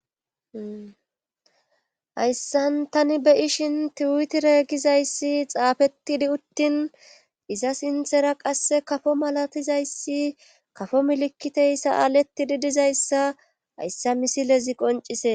Hayssan tani be ishin tiwutire gizayssi xaafetidi uttin iza sinthera qasse kafo malatizayssi kafo milikiteyssa aaletidi dizayssa hayssa misilezi qoncise